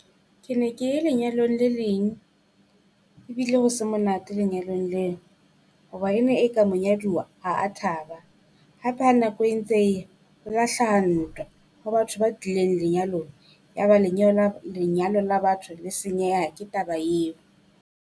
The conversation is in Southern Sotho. Ke ne ke ye lenyalong le leng, ebile ho se monate lenyalong leo. Hoba e ne e ka monyaduwa ha a thaba. Hape ha nako e ntse eya ho la hlaha ntwa ho batho ba tlileng lenyalong ya ba lenyalo la lenyalo la batho le senyeha ke taba eo.